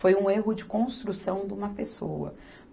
Foi um erro de construção de uma pessoa.